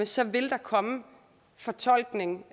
så vil der komme fortolkning